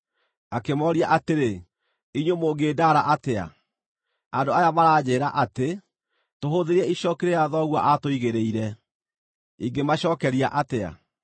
Akĩmooria atĩrĩ, “Inyuĩ mũngĩndaara atĩa? Andũ aya maranjĩĩra atĩ, ‘Tũhũthĩrie icooki rĩrĩa thoguo aatũigĩrĩire’ Ingĩmacookeria atĩa?”